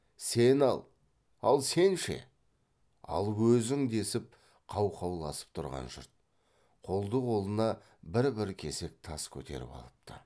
сен ал ал сен ше ал өзің десіп қау қауласып тұрған жұрт қолды қолына бір бір кесек тас көтеріп алыпты